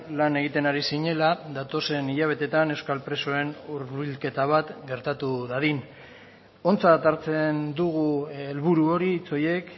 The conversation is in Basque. lan egiten ari zinela datozen hilabetetan euskal presoen hurbilketa bat gertatu dadin ontzat hartzen dugu helburu hori hitz horiek